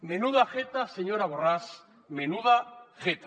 menuda jeta señora borràs menuda jeta